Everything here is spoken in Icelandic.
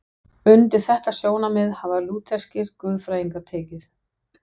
Undir þetta sjónarmið hafa lútherskir guðfræðingar tekið.